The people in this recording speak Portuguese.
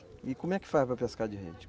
E como é que faz para pescar de rede?